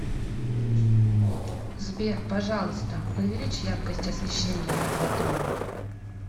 сбер пожалуйста увеличь яркость освещения на два тона